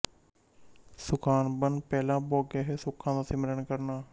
ਸੁਖਾਨੁਬੰਧ ਪਹਿਲਾਂ ਭੋਗੇ ਹੋਏ ਸੁੱਖਾਂ ਦਾ ਸਿਮਰਨ ਕਰਣਾ